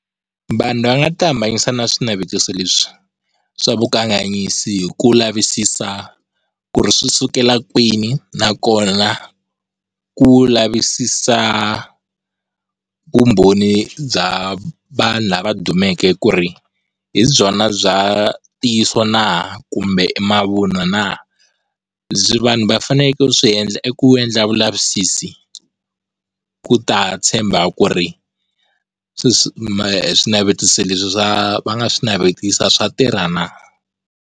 Vanhu va nga tihambanyisa na swinavetiso leswi swa vukanganyisi hi ku lavisisa ku ri swisukela kwini nakona ku lavisisa vumbhoni bya vanhu lava dumeke ku ri hi byona bya ntiyiso na kumbe i mavunwa na, byi vanhu vafaneleke ku swi endla i ku endla vulavisisi ku ta tshemba ku ri swi swi swinavetiso leswi va nga swi navetisa swa tirha na?